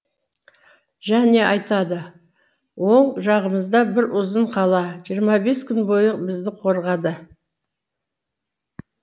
және айтады оң жағымызда бір ұзын қала жиырма бес күн бойы бізді қорғады